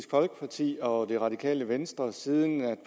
folkeparti og det radikale venstre siden